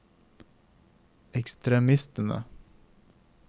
ekstremistene